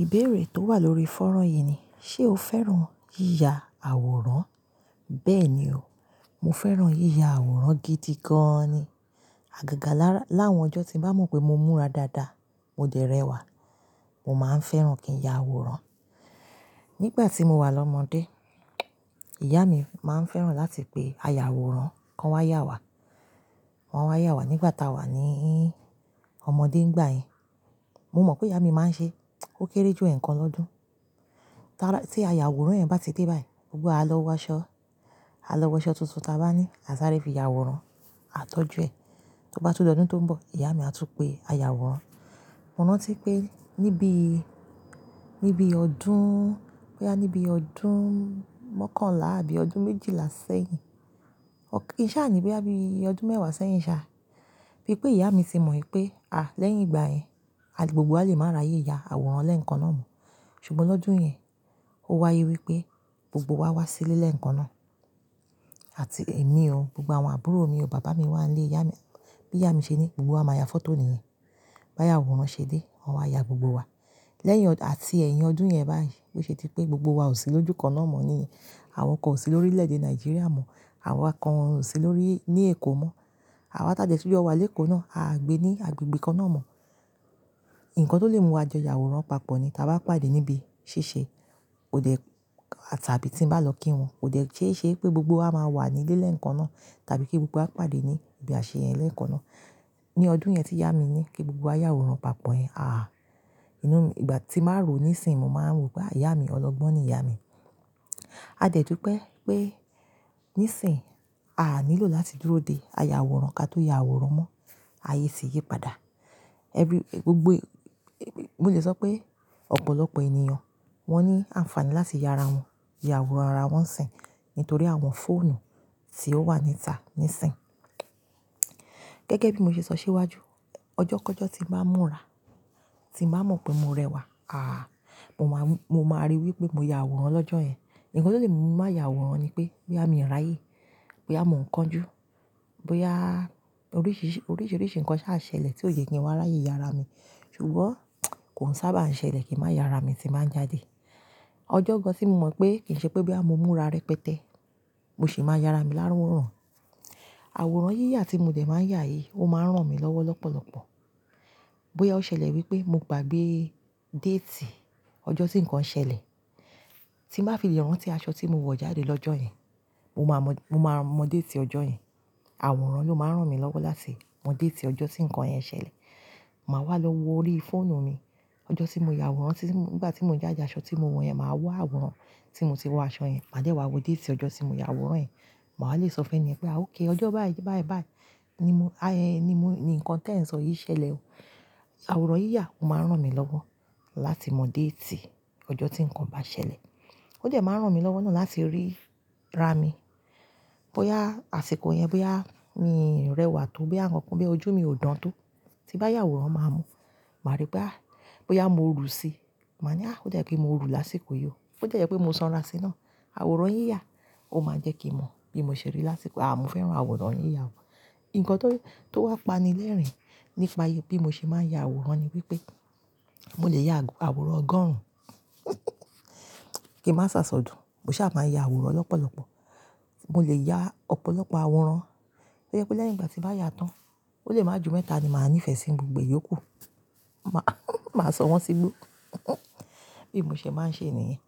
Ìbéèrè tó wà lórí fọ́nrán yìí ni, ṣe o fẹ́ràn yíya àwòrán? Bẹ́ẹ̀ ni o, mo fẹ́ràn yíya àwòrán gidi gan ni. Àgàgà láwọn ọjọ́ tí mo bá mọ̀ pé mo múra dáadáa, mo dẹ̀ rẹ̀wà, mo máa ń fẹ́ràn kí ń ya àwòrán. Nígbà tí mo wà lọ́mọdé, ìyá mi máa ń fẹ́ràn láti pe aya àwòrán, wọn kon wá yà wá. Wọn wá yà wá nígbà táa wà ní ọmọdé ń gba'ẹyìn. Mo mọ̀ pé ìyá mi máa ń ṣe, ó kéré ju ẹ̀ẹ̀kan lọ́dún. Tí aya àwòrán yẹn bá ti dé báyìí, gbogbo wa à lọ wọ aṣọ. A lọ wọ aṣọ tuntun táa bá ní, a sáré fi ya àwòrán, a tọ́jú ẹ̀. Tó bá tún di ọ́dún tó ń bọ̀, ìyá mi á tún pe aya àwòrán. Mò rántí pé níbí, níbi ọdún, bóyá níbi ọdún mọ́kànlá àbí ọdún méjìlá sẹ́yìn. Kì ṣá ni, bóyá bí ọdún mẹ́wàá sẹ́yìn ṣá. Bí pé ìyá mi ti mọ̀ pé, à, lẹ́yìn ìgbà yẹn, gbogbo wa lè máa ráyè ya àwòrán lẹ́ẹ̀kan náà mọ̀. Ṣùgbọ́n lọ́dún yẹn, ó wáyé wípé gbogbo wa wá sí ilé lẹ́ẹ̀kan náà. Àti èmi o, gbogbo àwọn àbúrò mi o, bàbá mi wá ń lé ìyá mi. Bí ìyá mi ṣe ní, gbogbo wa máa ya fọ́tò nìyẹn. Bí àyawòrán ṣe dé, wọn wá ya gbogbo wa. Lẹ́yìn, àti ẹ̀yìn ọdún yẹn báyìí, bó ṣe dípé gbogbo wa ò sí lójú kan náà mọ̀ ní. Àwọn kan ò sí lórílẹ̀ èdè Nàìjíríà mọ̀, àwa kan ò sí lórí, ní Èkó mọ̀. Àwa tá dẹ̀ tún jọ wà lékòó náà, a gbé ní agbègbè kan náà mọ̀. Ǹkan tó lè mú wa jọ ìyàwòrán papọ̀ ni táa bá pàdé níbi ṣíṣe. Kò dẹ̀, àtàbí tí ń bá lọ kí wọn, kò dẹ̀ ṣéṣe pé gbogbo wa máa wà ní ilé lẹ́ẹ̀kan náà, tàbí kí gbogbo wa pàdé ní ibi àṣeyẹn lẹ́ẹ̀kan náà. Ní ọdún yẹn tí ìyá mi ní kí gbogbo wa yà àwòrán papọ̀ yẹn, àhá. Ìgbà tí màá rò níìsín, mo máa ń rò pé ìyá mi ọlọ́gbọ́n ni ìyá mi. A dẹ̀ dú pé, pé níìsín, à nílò láti dúró de aya àwòrán ká tó ya àwòrán mọ́. Ayé ti yí padà. Ẹbí, gbogbo, mo lè sọ pé ọ̀pọ̀lọpọ̀ ènìyàn wọ́n ní àǹfààní láti ya ara wọn, ya àwòrán ara wọn nsin ni tòrí àwọn fóònù tí ó wà níta níìsín. Gẹ́gẹ́ bí mo ṣe sọ síwájú, ọjọ́ kọ̀ọ́jọ́ tí mo bá múra, tí mo bá mọ̀ pé mo rẹwà, àhá, mo máa rí wípé mo ya àwòrán lọ́jọ́ yẹn. Ǹkan tó lè múmi má ya àwòrán ni pé, bóyá mi ò ráyè, bóyá mò ń kanjú, bóyá oríṣìíríṣìí nǹkan ṣá á ṣẹlẹ̀ tí ò ye kí n wá ráyè ya ara mi. Ṣùgbọ́n kò ń sábà ń ṣẹlẹ̀ kí n má ya ara mi tí ń bá jáde. Ọjọ́ gan tí mo mọ̀ pé kì í ṣe pé bóyá mo múra rẹpẹtẹ, mo sì máa ya ara mi láwòrán. Àwòrán yíyà tí mo dẹ̀ máa ń yá yìí, ó máa ń ràn mí lọ́wọ́ lọ́pọ̀lọpọ̀. Bóyá ó ṣẹlẹ̀ wípé mo gbàgbé déètì ọjọ́ tí ǹkan ṣẹlẹ̀, tí mo bá fi lè rántí aṣọ tí mo wọ̀ jáde lọ́jọ́ yẹn, mo máa mọ̀ déètì ọjọ́ yẹn. Àwòrán ló máa ń ràn mí lọ́wọ́ láti mọ̀ déètì ọjọ́ tí ǹkan yẹn ṣẹlẹ̀. Màá wá lọ wo orí fóònù mi. Ọjọ́ tí mo ya àwòrán, nígbà tí mo ń jáde aṣọ tí mo wọ̀ yẹn, màá wọ̀ àwòrán tí mo ti wọ aṣọ yẹn. Màá dẹ́ wá wo déètì ọjọ́ tí mo ya àwòrán yẹn. Màá lè sọ fún ẹni yẹn pé a okay, ọjọ́ báì báì báì ni nǹkan tí ẹ̀ ń sọ yẹn ṣẹlẹ̀ o. Àwòrán yíyà ó máa ń ràn mí lọ́wọ́ láti mọ̀ déètì ọjọ́ tí ǹkan bá ṣẹlẹ̀. Ó dẹ̀ máa ń ràn mí lọ́wọ́ náà láti rí ra mi. Bóyá àsìkò yẹn, bóyá mi ń rẹwà tó, bóyá nǹkan bí ojú mi ò dán tó, tí bá yà àwòrán máa mo, màá rí pé, à, bóyá mo rù síi, màá ní, à, ó dàbí pẹ̀ mo rù lásìkò yìí o. Bó dẹ̀ jẹ́pé mo sanra síi náà. Àwòrán yíyà ó máa ń jẹ́ kí n mọ̀ bí mo ṣe rí lásìkò, à, mo fẹ́ràn àwòrán yíyà gan. Ǹkan tó wà pani lẹ́rìn-ín nípa bí mo ṣe máa ń ya àwòrán ni wípé, mo lè ya àwòrán ọgọ́rùn. Kí ń má sáṣọ dùn, mo ṣá máa ń ya àwòrán lọ́pọ̀lọpọ̀. Mo lè ya ọ̀pọ̀lọpọ̀ àwòrán. Tó jẹ́ pé lẹ́yìn ìgbà tí bá yà tán, ó lè máa jù mẹ́ta ni màá ní ìfẹ́ sí gbogbo yòókù. Màá sọ wọ́n sígbó. Bí mo ṣe máa ń ṣe nìyẹn.